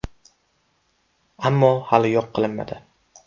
Ammo hali yo‘l qilinmadi.